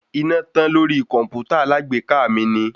Iná tán lórí kọ̀mpútà alágbèéká mi ni.